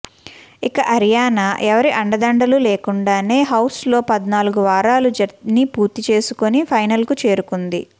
ఇక అరియానా ఎవరి అండదండలు లేకుండానే హౌస్లో పద్నాలుగు వారాల జర్నీ పూర్తి చేసుకుని ఫైనల్కు చేరుకుంది